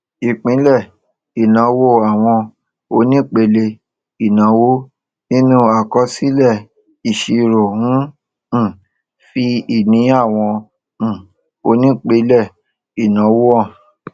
ìpínlẹ ìnáwó àwọn onípínlé ìnáwó nínú àkọsílẹìṣirò ń um fi ìní àwọn um onípínlẹ ìnáwó hàn